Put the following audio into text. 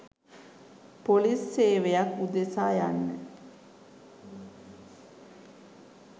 police සේවයක් උදෙසා" යන්න